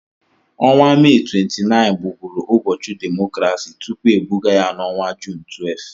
Ọnwa Mee 29 bụ bụụrụ ụbọchị demokrasi tupu ebugaa ya n'ọnwa Jun 12.